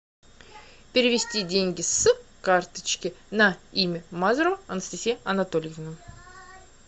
перевести деньги с карточки на имя мазурова анастасия анатольевна